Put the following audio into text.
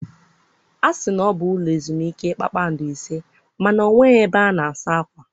A sị na ọ bụ ụlọ ezumike kpakpando ise ma na o nweghị ebe a na-asa akwa.